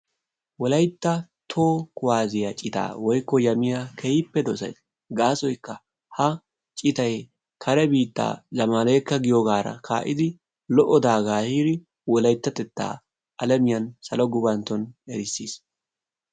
Wolaytta toho kuwaassiyaa citaa woykko yamiya keehippe dosays gaasoykka ha citay kare biitta Zamalikka giyoogara ka'iddi lo'o daagga ehidi wolayttatteta alamiyan salo gufanttoni erissis.